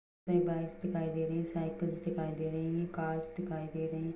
Bikes दिखाई दे रही है साइकल्स दिखाई दे रही है कार्स दिखाई दे रही है।